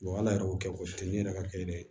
ala yɛrɛ y'o kɛ o te ne yɛrɛ ka kɛ dɛ